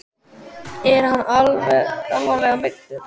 Er hann alvarlega meiddur?